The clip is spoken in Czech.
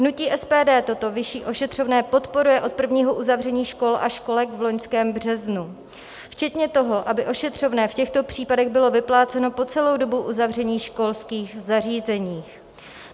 Hnutí SPD toto vyšší ošetřovné podporuje od prvního uzavření škol a školek v loňském březnu, včetně toho, aby ošetřovné v těchto případech bylo vypláceno po celou dobu uzavření školských zařízení.